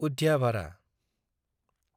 उद्याभारा